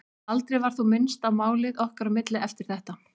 Aldrei var þó minnst á málið okkar á milli eftir þetta.